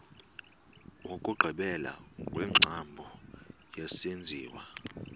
wokugqibela wengcambu yesenziwa